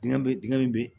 Dingɛ bɛ dingɛ min bɛ